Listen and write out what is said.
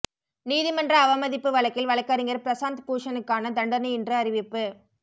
நீதிமன்ற அவமதிப்பு வழக்கில் வழக்கறிஞர் பிரசாந்த் பூஷனுக்கான தண்டனை இன்று அறிவிப்பு